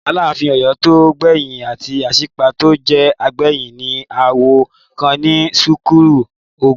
Aláàfin Ọ̀yọ́ tó gbẹ̀yìn àti Aṣípa tó jẹ gbẹ̀yìn ní aáwọ̀ kan ní sẹ́ńtúrì ogún.